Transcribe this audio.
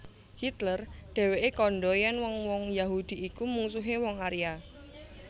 Hitler dhéwé kandha yèn wong wong Yahudi iku mungsuhé wong Arya